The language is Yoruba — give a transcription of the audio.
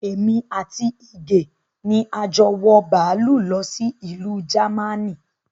Èmi àti Ige ni a jọ wọ bàálù lọ sí ìlú Jámánì